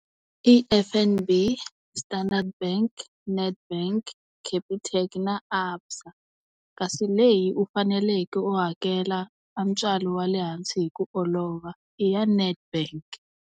I F_N_B, Standard Bank, Nedbank, Capitec na ABSA. Kasi leyi u faneleke u hakela a ntswalo wa le hansi hi ku olova, i ya Nedbank.